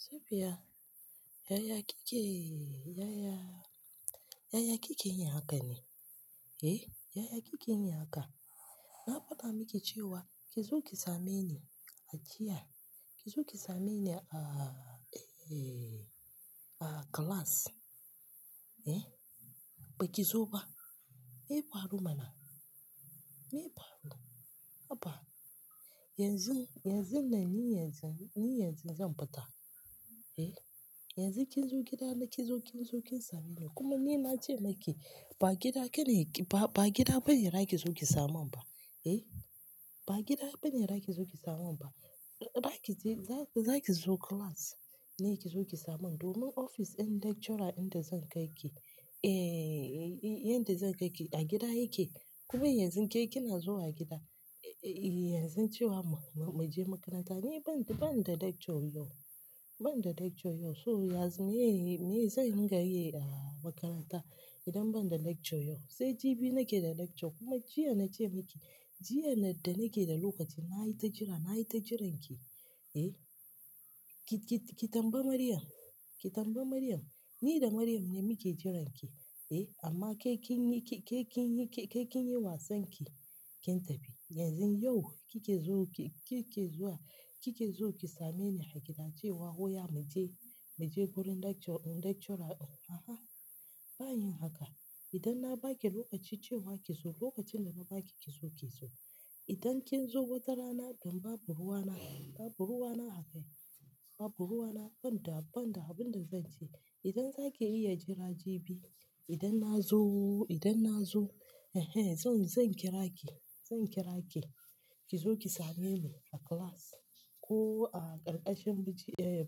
Safiya, Yaya kike, Yaya, Yaya kike yin haka ne? Eh, Yaya kike min haka? Na faɗa miki cewa ki zo ki same ni a jiya. Ki zo ki same ni a, a class. Eh, ba ki zo ba. Me ya faru mana? Me ya faru? Haba. Yanzun, yanzun nan, ni yanzu, ni yanzu zan fita. Eh, yanzu kin zo gida na kin zo, kin zo kin same ni. Kuma ni na ce makiz ba gida kene ki ba, ba gida bane zaki zo ki saman ba. Eh, ba gida bane zaki zo ki saman ba. Zaki je, zaki zo class ne ki zo ki saman. Domin ofis ɗin lecturer ɗinda zan kai ki, eh, inda zan kai ki a gida yake. Kuma yanzu ke kina zuwa gida, eh, yanzu cewa mu, mu je makaranta. Ni ban, ban da lecture yau. Ban da lecture yau. So yanzu me, me zan yi game da makaranta idan ban da lecture yau? Sai jibi nake da lecture kuma jiya na ce miki. Jiya da nake da lokaci na yi ta jira, na yi ta jiran ki. Eh, ki, ki tambayi Maryam. Ki tambayi Maryam. Ni da Maryam ne muke jiran ki. Eh, amma ke kin yi, ke kin yi, ke kin yi wasan ki, kin tafi. Yanzu yau kike zo ki, kike zuwa, kike zo ki same ni a gida cewa "Oya mu je, mu je wurin lecture, lecturer ɗin." a'a, ba a yin haka, idan na baki lokaci cewa ki zo, lokacin da na baki ki zo, ki zo idan kin zo wata rana kam babu ruwa na, babu ruwa na a kai, babu ruwa na, ban da, ban da abin da zan ce. Idan za ki iya jira jibi, idan na zo, idan na zo, ehrn, zan, zan kira ki. Zan kira ki, ki zo ki same ni a class ko a ƙarƙashin bishi, eh,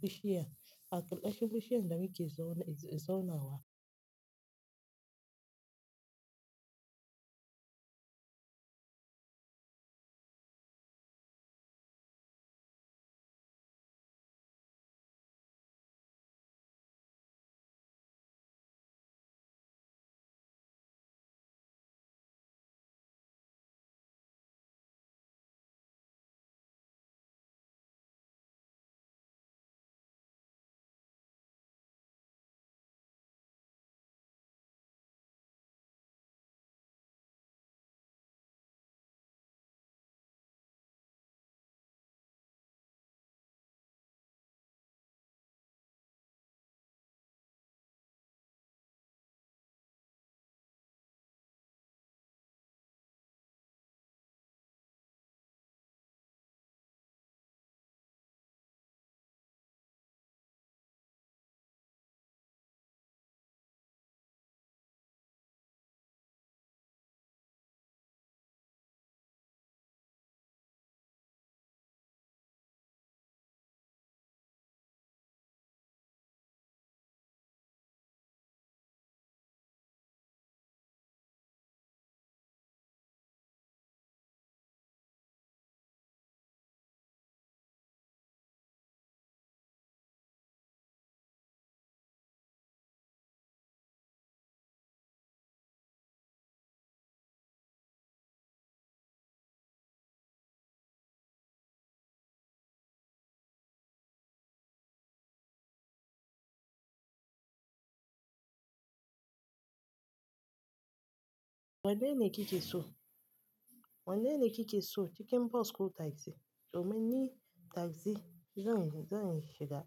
bishiyar, a ƙarƙashin bishiyar da muke zauna, zaunawa. Wanne ne kike so? Wanne ne kike so? Cikin bas ko takzi domin ni taksi zan yi, zan shiga.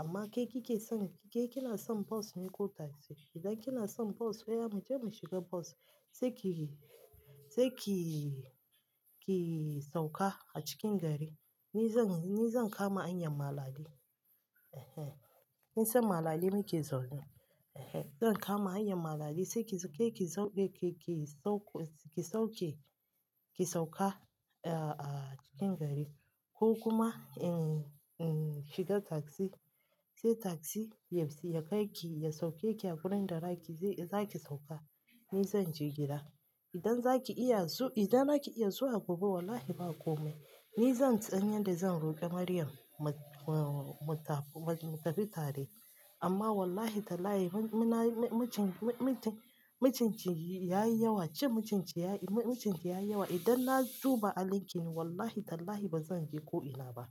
Amma ke kike son, ke kina son bos ne ko taksi? Idan kina son bos, oya mu je mu shiga bos sai ki, sai ki, ki sauka a cikin gari. Ni zan, ni zan kama hanyan malali. Eh eh, kin san malali nake zaune. Eh eh, zan kama hanyan malali sai ki zo, ke ki sauɓe ke ki sauko, ki sauke, ki sauka, eh, a cikin gari. Ko kuma, eh, eh, shiga taksi. Sai taksi yaf, ya kai ki, ya sauke ki a wurin da zaki je, zaki sauka. Ni zan je gida. Idan zaki iya zu, idan zaki iya zuwa gobe wallahi ba komai. Ni zan san yanda zan roƙi Maryam mu, mu tafi, mu tafi tare. Amma wallahi tallahi munayi, munayi, mucin, mucin, mucin ci yayi yawa. Cin mucin ki yayi, mucin ki yayi yawa. Idan na duba halinki ne wallahi tallahi bazan je ko ina ba.